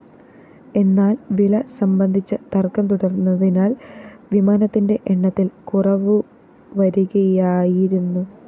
എന്നാല്‍ വില സംബന്ധിച്ച് തര്‍ക്കം തുടര്‍ന്നതിനാല്‍ വിമാനത്തിന്റെ എണ്ണത്തില്‍ കുറവുവരികയായിരുന്നു